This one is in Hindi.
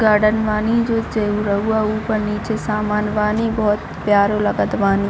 गार्डन बानी जो चैरउवा ऊपर-नीचे सामान बानी बहुत प्यारा लागत बानी।